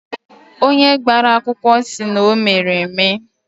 Onye gbara akwụkwọ sị na o mere eme